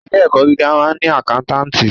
Ilé ẹ̀kọ́ gíga máà ń ni àkántàntì.